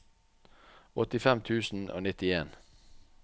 åttifem tusen og nittien